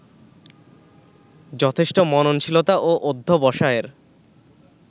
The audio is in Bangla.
যথেষ্ট মননশীলতা ও অধ্যবসায়ের